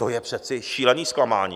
To je přece šílené zklamání.